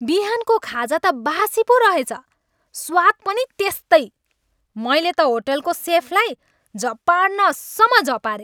बिहानको खाजा त बासी पो रहेछ। स्वाद पनि त्यस्तै। मैले त होटलको सेफलाई झपार्नसम्म झपारेँ।